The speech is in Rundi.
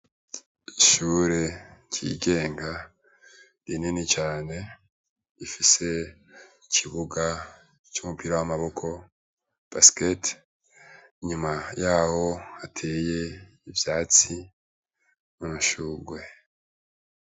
Ishure ryigenga rinini cane ifise ikibuga c'umupira w'amaboko basket inyuma yaho hateye ivyatsi n'amashurwe.